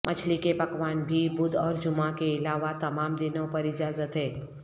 مچھلی کے پکوان بھی بدھ اور جمعہ کے علاوہ تمام دنوں پر اجازت ہے